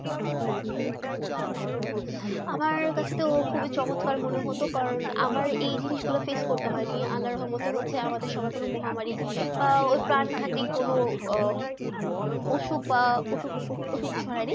আমার কাছে তো খুবই চমৎকার মনে হতো কারন আমার এই জিনিস গুলু ফেস করতে হয়ে নি আল্লার রহমতে হচ্ছে আমার সময়ে কোনো মহামারী বা প্রাঙ্গণটিকে কোনো অসুখ না অসুখ অসুখ ছোয়া নি